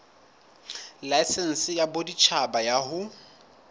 laesense ya boditjhaba ya ho